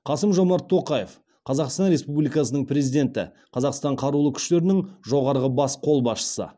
қасым жомарт тоқаев қазақстан республикасының президенті қазақстан қарулы күштерінің жоғарғы бас қолбасшысы